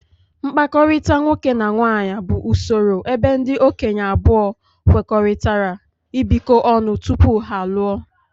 mkpakọrịta nwoke na nwaanyị bụ usoro ebe ndị okenye abụọ kwekọrịtara ibikọ ọnụ tupu ha alụọ.